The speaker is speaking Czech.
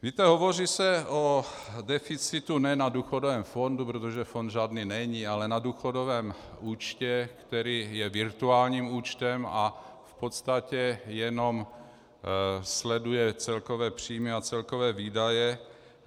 Víte, hovoří se o deficitu ne na důchodovém fondu, protože fond žádný není, ale na důchodovém účtě, který je virtuálním účtem a v podstatě jenom sleduje celkové příjmy a celkové výdaje.